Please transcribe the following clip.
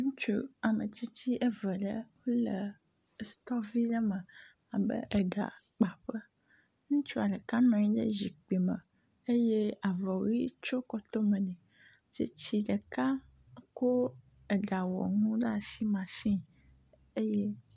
Ŋutsu ame tsitsi eve ɖe ele stɔ vi ɖe me abe eɖakpaƒe. Ŋutsua ɖeka nɔ anyi ɖe zikpui me eye avɔ ʋi tso kɔtome nɛ. Tsitsi ɖeka ko egawɔnu mashini eye.